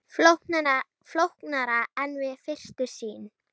Flóknara en við fyrstu sýn